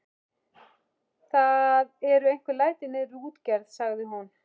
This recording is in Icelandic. Það eru einhver læti niðri við útgerð, sagði hún.